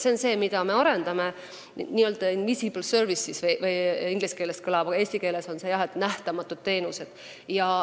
Seda kõike me praegu arendame, inglise keeles on see invisible services, eesti keeles vast jah "nähtamatud teenused".